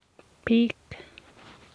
bik.